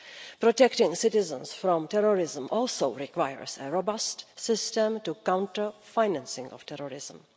Protecting citizens from terrorism also requires a robust system to counter the financing of terrorism.